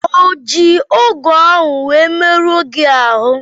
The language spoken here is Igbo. O ji ọgụ ahụ wee merụọ gị ahụ?